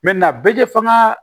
bɛɛ tɛ faga